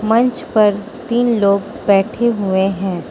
मंच पर तीन लोग बैठे हुए हैं।